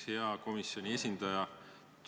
Hea komisjoni esindaja!